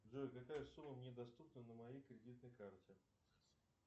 джой какая сумма мне доступна на моей кредитной карте